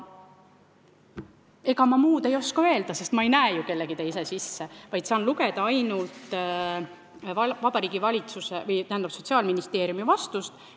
Ega ma muud ei oska öelda, sest ma ei näe ju kellegi teise sisse, ma saan lugeda ainult Sotsiaalministeeriumi vastust.